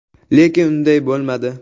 Lekin unday bo‘lmadi”.